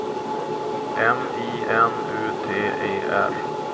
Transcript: M I N U T E R